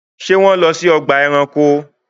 Ṣé wọ́n lọ sí ọgbà ẹranko?